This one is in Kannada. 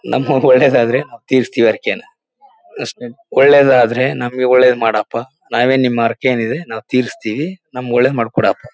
ನಮ್ಗೆ ಒಳ್ಳೆದಾದ್ರೆ ತೀರ್ಸ್ತಿವಿ ಹರಕೆನ ಅಷ್ಟೇ ಒಳ್ಳೆದಾದ್ರೆ ನಮ್ಗೆ ಒಳ್ಳೆದ್ ಮಾಡಪ್ಪ ನಾವೇನ್ ನಿಮ್ ಹರಕೆ ಏನಿದೆ ನಾವ್ ತೀರ್ಸ್ತಿವಿ. ನಮ್ಗ್ ಒಳ್ಳೆದ್ ಮಾಡ ಕೊಡಪ್ಪ.